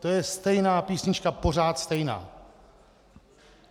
To je stejná písnička, pořád stejná.